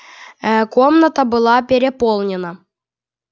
э комната была переполнена